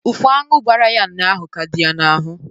Ụfụ aṅụ gbara ya ụnyaahụ ka dị ya n'ahụ